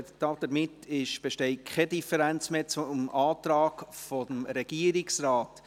Damit besteht keine Differenz mehr zum Antrag des Regierungsrates.